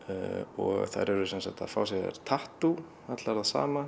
og þær eru sem sagt að fá sér tattú allar það sama